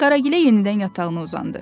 Qaragilə yenidən yatağına uzandı.